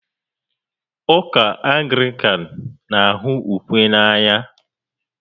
Ụka Anglican na-ahụ ukwe n'anya